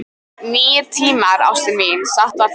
Nýir tímar, ástin mín, satt var það.